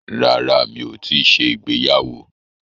Rárá, mi ò tíì ṣe ìgbéyàwó.